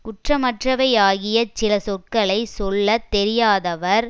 குற்றமற்றவையாகியச் சில சொற்களை சொல்ல தெரியாதவர்